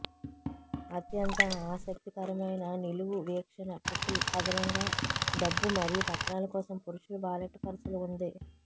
అత్యంత ఆసక్తికరమైన నిలువు వీక్షణ ట్రిపుల్ అదనంగా డబ్బు మరియు పత్రాలు కోసం పురుషుల వాలెట్ పర్సులు ఉంది